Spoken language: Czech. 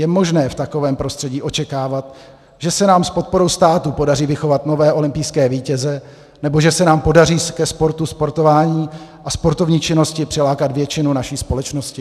Je možné v takovém prostředí očekávat, že se nám s podporou státu podaří vychovat nové olympijské vítěze nebo že se nám podaří ke sportu, sportování a sportovní činnosti přilákat většinu naší společnosti?